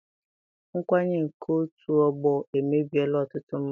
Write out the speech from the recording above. Nkwanye nke otu ọgbọ emebiela ọtụtụ mmadụ.